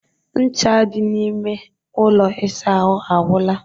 Ncha dị n'ime ụlọ ịsa ahụ agwụla